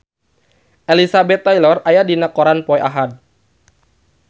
Elizabeth Taylor aya dina koran poe Ahad